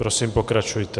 Prosím, pokračujte.